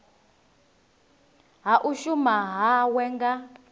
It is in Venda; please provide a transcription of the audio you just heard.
ha u shuma hawe nga